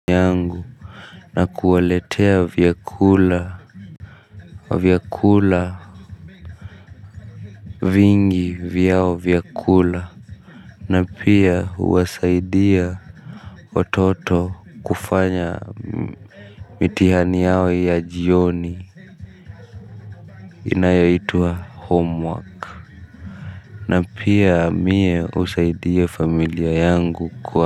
Yangu na kuwaletea vyakula vya kula. Vingi vyao vya kula. Na pia huwasaidia watoto kufanya mitihani yao ya jioni inayaitwa homework na pia mie husaidia familia yangu kwa.